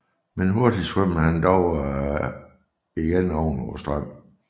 Men hurtig svømmede han dog atter oven på strømmen